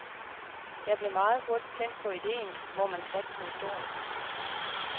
Jeg blev meget hurtigt tændt på ideen, hvor man satsede stort.